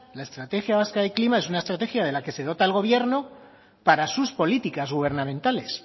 la estrategia vasca de clima es una estrategia de la que se dota el gobierno para sus políticas gubernamentales